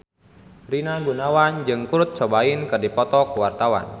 Rina Gunawan jeung Kurt Cobain keur dipoto ku wartawan